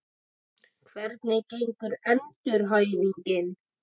Hvernig gengur endurhæfingin?